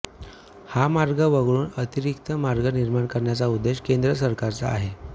हा मार्ग वगळून अतिरिक्त मार्ग निर्माण करण्याचा उद्देश केंद्र सरकारचा आहे